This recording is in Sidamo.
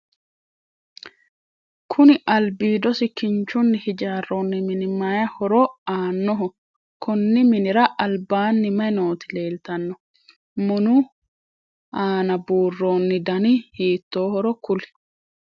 Kunni albiidosi kinchunni hijaaroonni mini mayi horo aanoho? Konni minnira albaanni mayi nooti leeltano? Munu aanna buuroonni danni hiittoohoro kuli?